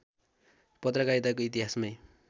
पत्रकारिताको इतिहासमै